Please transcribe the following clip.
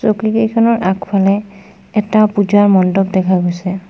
চকীকেইখনৰ আগফালে এটা পূজাৰ মণ্ডপ দেখা গৈছে।